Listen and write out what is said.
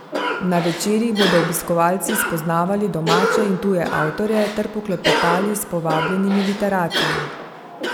Na večerih bodo obiskovalci spoznavali domače in tuje avtorje ter poklepetali s povabljenimi literati.